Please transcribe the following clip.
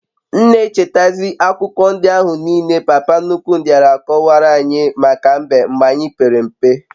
m n'echeta zi akuko ndi ahu niile papa nnukwu diara akowaranyi maka mbe mgbe anyi pere mpe